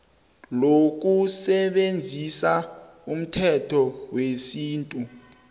lokusebenzisa umthetho wesintu